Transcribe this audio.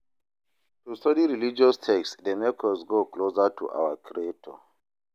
To study religious text de make us go closer to our creator